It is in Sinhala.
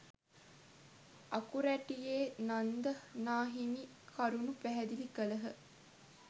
අකුරැටියේ නන්ද නා හිමි කරුණු පැහැදිලි කළහ.